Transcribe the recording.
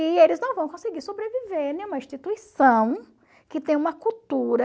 E eles não vão conseguir sobreviver em uma instituição que tem uma cultura...